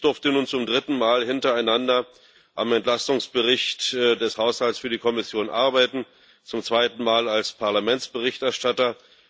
Ich durfte nun zum dritten Mal hintereinander am Entlastungsbericht des Haushalts für die Kommission arbeiten, zum zweiten Mal als Parlamentsberichterstatter.